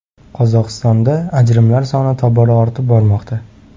Qozog‘istonda ajrimlar soni tobora ortib bormoqda.